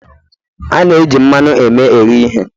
A na-eji mmanụ eme ehe ihe